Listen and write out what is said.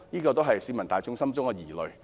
這也是市民大眾的疑慮。